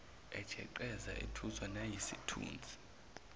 ejeqeza ethuswa nayisithunzi